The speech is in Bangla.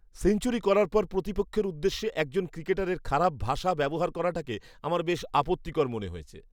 সেঞ্চুরি করার পর প্রতিপক্ষের উদ্দেশ্যে একজন ক্রিকেটারের খারাপ ভাষা ব্যবহার করাটাকে আমার বেশ আপত্তিকর মনে হয়েছে।